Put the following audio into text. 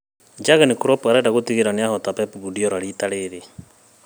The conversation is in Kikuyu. Jurgen Klopp arenga gũtigĩrĩra nĩahota Pep kuardiola rita rĩrĩ